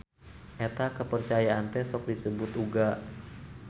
Eta kapercayaan teh sok disebut uga.